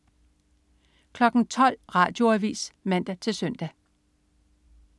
12.00 Radioavis (man-søn)